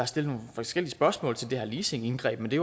er stillet nogle forskellige spørgsmål til det her leasingindgreb men det